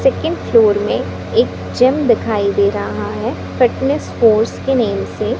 second floor में एक gym दिखाई दे रहा है फिटनेस फोर्स के नेम से--